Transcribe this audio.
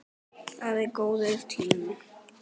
Það er góður tími.